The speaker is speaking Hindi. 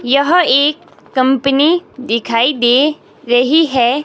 यह एक कंपनी दिखाई दे रही है।